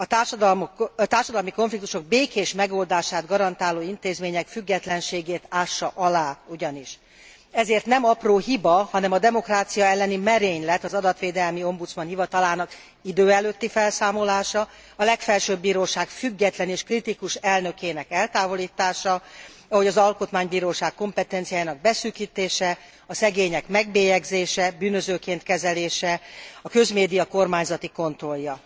A társadalmi konfliktusok békés megoldását garantáló intézmények függetlenségét ássa alá ugyanis, ezért nem apró hiba, hanem a demokrácia elleni merénylet az adatvédelmi ombudsman hivatalának idő előtti felszámolása, a Legfelsőbb Bíróság független és kritikus elnökének eltávolítása, ahogy az Alkotmánybíróság kompetenciájának beszűkítése, a szegények megbélyegzése, bűnözőként kezelése, a közmédia kormányzati kontrollja.